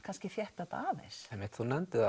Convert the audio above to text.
þétta þetta aðeins þú nefndir